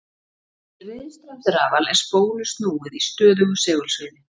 Í riðstraumsrafal er spólu snúið í stöðugu segulsviði.